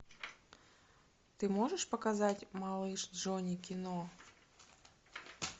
ты можешь показать малыш джонни кино